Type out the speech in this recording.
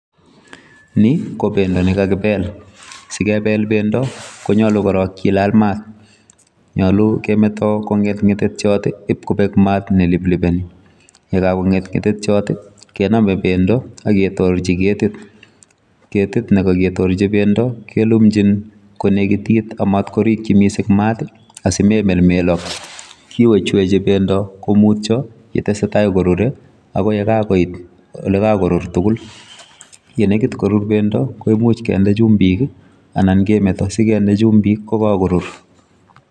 Nikobendo nekakibel, sikebel bendo konyolu korong kilal maat, nyolu kemeto kong'et ng'etetiot ib kobek maat neliplipeni, yekakong'et ng'etetiot i kenome bendo aketorchi ketit, ketit nekakitorchi bendo kelumchin konekitit amatkorikyi mising maat asimelmelok, kiwechweche bendo komutyo yeteseta korure akoi yekakoit elekakorur tukul, yenekit korur bendo kimuch kinde chumbik i anan kemeto sikinde chumbik kokakorur.